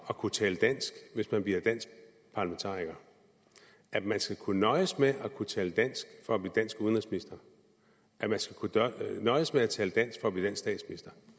at kunne tale dansk hvis man bliver dansk parlamentariker at man skal kunne nøjes med at kunne tale dansk for at blive dansk udenrigsminister at man skal kunne nøjes med at tale dansk for at blive dansk statsminister